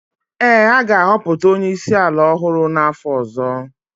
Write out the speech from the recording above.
ee, a ga-ahọpụta onye isi ala ọhụrụ n’afọ ọzọ